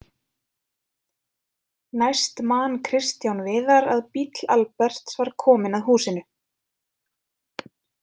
Næst man Kristján Viðar að bíll Alberts var kominn að húsinu.